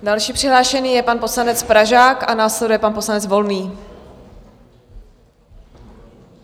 Další přihlášený je pan poslanec Pražák a následuje pan poslanec Volný.